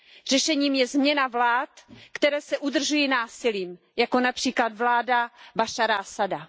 Řešením je změna vlád, které se udržují násilím, jako například vláda Bašára Asada.